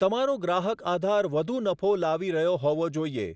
તમારો ગ્રાહક આધાર વધુ નફો લાવી રહ્યો હોવો જોઈએ.